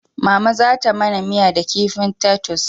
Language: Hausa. Mama za ta mana miya da kifin tatus